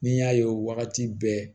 Ni n y'a ye wagati bɛɛ